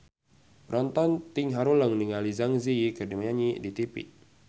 Panonton ting haruleng ningali Zang Zi Yi keur nyanyi di tipi